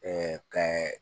kɛ